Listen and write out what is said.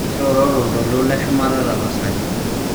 iroro tolntoilo le sumata tapasali